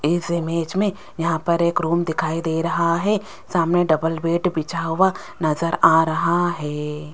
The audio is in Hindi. इस इमेज में यहां पर एक रूम दिखाई दे रहा है सामने डबल बेड बिछा हुआ नजर आ रहा है।